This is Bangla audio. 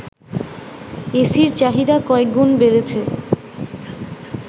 এসির চাহিদা কয়েকগুণ বেড়েছে